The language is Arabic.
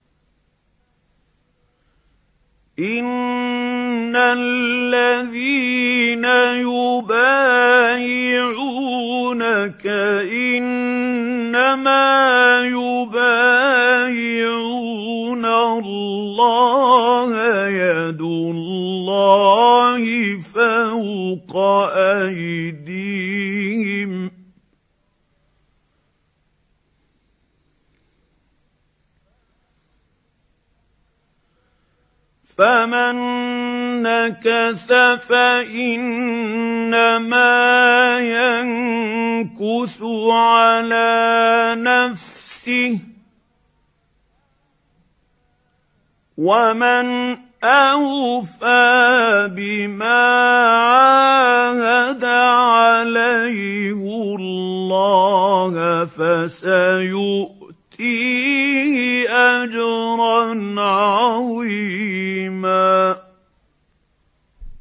إِنَّ الَّذِينَ يُبَايِعُونَكَ إِنَّمَا يُبَايِعُونَ اللَّهَ يَدُ اللَّهِ فَوْقَ أَيْدِيهِمْ ۚ فَمَن نَّكَثَ فَإِنَّمَا يَنكُثُ عَلَىٰ نَفْسِهِ ۖ وَمَنْ أَوْفَىٰ بِمَا عَاهَدَ عَلَيْهُ اللَّهَ فَسَيُؤْتِيهِ أَجْرًا عَظِيمًا